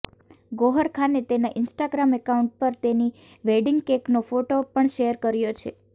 ગૌહર ખાને તેના Instagram account પર તેની વેડીંગ કેકેનો ફોટો પણ શેર કર્યો છે